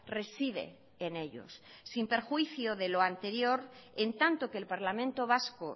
reside en ellos sin perjuicio de lo anterior en tanto que el parlamento vasco